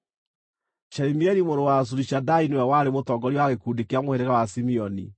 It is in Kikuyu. Shelumieli mũrũ wa Zurishadai nĩwe warĩ mũtongoria wa gĩkundi kĩa mũhĩrĩga wa Simeoni,